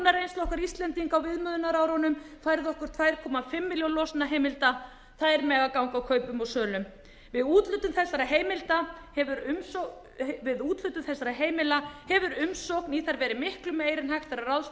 íslendinga á viðmiðunarárunum færðu okkar tvö komma fimm milljónir losunarheimilda þær mega ganga kaupum og sölum við úthlutun þessara heimilda hefur umsókn í þær verið miklu meiri en hægt er að